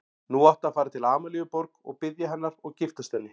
Nú áttu að fara til Amalíu Borg og biðja hennar og giftast henni.